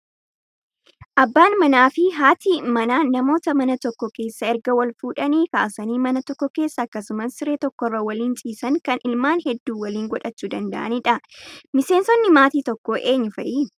Abbaan manaa fi haati manaan namoota mana tokko keessa erga wal fuudhanii kaasanii mana tokko keessa akkasumas siree tokkorra waliin ciisan kan ilmaan hedduu waliin godhachuu danda'anidha. Miseensonni maatii tokkoo eenyu fa'i?